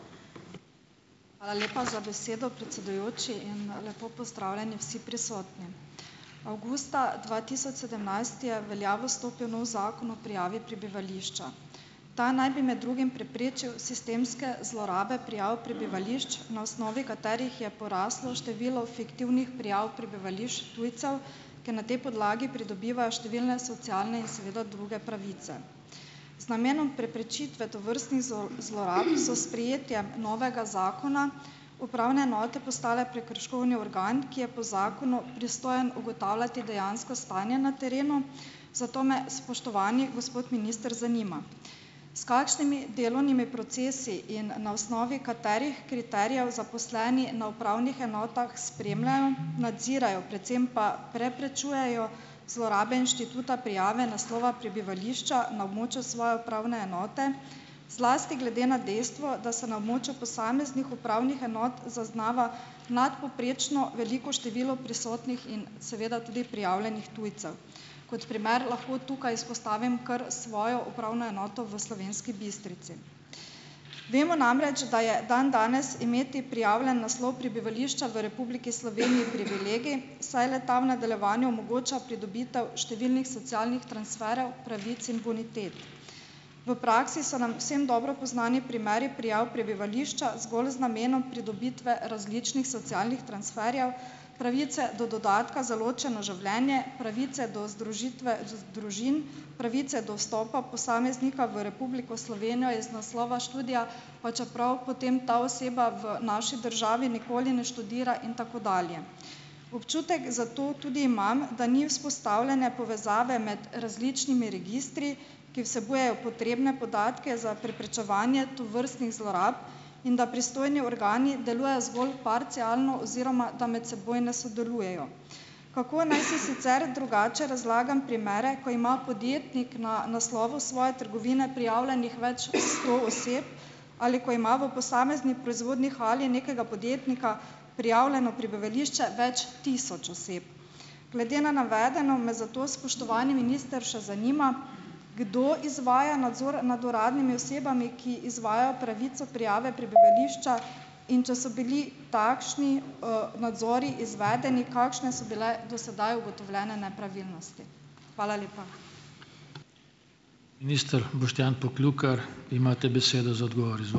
Hvala lepa za besedo, predsedujoči, in lepo pozdravljeni vsi prisotni. Avgusta dva tisoč sedemnajst je v veljavo stopil novi zakon o prijavi prebivališča. Ta naj bi med drugim preprečil sistemske zlorabe prijav prebivališč, na osnovi katerih je poraslo število fiktivnih prijav prebivališč tujcev, ki na tej podlagi pridobiva številne socialne in seveda druge pravice. Z namenom preprečitve tovrstnih zlorab so sprejetje novega zakona upravne enote postale prekrškovni organ, ki je po zakonu pristojen ugotavljati dejansko stanje na terenu, zato me, spoštovani gospod minister, zanima: S kakšnimi delovnimi procesi in na osnovi katerih kriterijev zaposleni na upravnih enotah spremljajo, nadzirajo, predvsem pa preprečujejo zlorabe inštituta prijave naslova prebivališča na območju svoje upravne enote, zlasti glede na dejstvo, da se na območju posameznih upravnih enot zaznava nadpovprečno veliko število prisotnih in seveda tudi prijavljenih tujcev. Kot primer lahko tukaj izpostavim kar svojo upravno enoto v Slovenski Bistrici. Vemo namreč, da je dandanes imeti prijavljen naslov prebivališča v Republiki Sloveniji privilegij, saj le-ta v nadaljevanju omogoča pridobitev številnih socialnih transferjev pravic in bonitet. V praksi so nam vsem dobro poznani primeri prijav prebivališča zgolj z namenom pridobitve različnih socialnih transferjev, pravice do dodatka za ločeno življenje, pravice do združitve družin, pravice do vstopa posameznika v Republiko Slovenijo iz naslova študija, pa čeprav potem ta oseba v naši državi nikoli ne študira in tako dalje. Občutek zato tudi imam, da ni vzpostavljene povezave med različnimi registri, ki vsebujejo potrebne podatke za preprečevanje tovrstnih zlorab, in da pristojni organi delujejo zgolj parcialno oziroma da med seboj ne sodelujejo. Kako naj si sicer drugače razlagam primere, ko ima podjetnik na naslovu svoje trgovine prijavljenih več sto oseb ali ko ima v posamezni proizvodni hali nekega podjetnika prijavljeno prebivališče več tisoč oseb. Glede na navedeno me zato, spoštovani minister, še zanima, kdo izvaja nadzor nad uradnimi osebami, ki izvajajo pravico prijave pre bivališča, in če so bili takšni nadzori izvedeni, kakšne so bile do sedaj ugotovljene nepravilnosti. Hvala lepa.